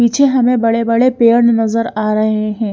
पीछे हमे बड़े बड़े पेड़ नजर आ रहे है।